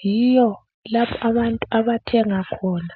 yiyo lapho abantu abathenga khona